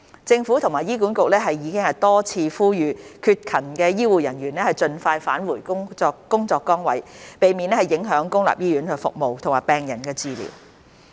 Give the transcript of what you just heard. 政府和醫管局已多次呼籲缺勤的醫護人員盡快返回工作崗位，避免影響公立醫院服務和病人治療。